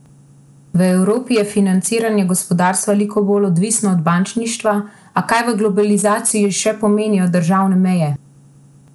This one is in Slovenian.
V Evropi je financiranje gospodarstva veliko bolj odvisno od bančništva, a kaj v globalizaciji še pomenijo državne meje?